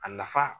A nafa